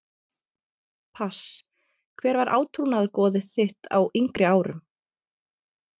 pass Hver var átrúnaðargoð þitt á yngri árum?